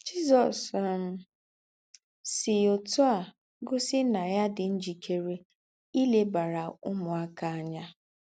Jízọ̀s um sí ótù á gósì ná yà dì ńjìkèrè ílèbàrà úmùákà ányà.